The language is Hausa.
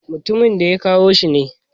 Mutumin da ya kawo shi ne.